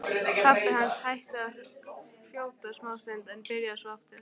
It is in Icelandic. Pabbi hans hætti að hrjóta smástund en byrjaði svo aftur.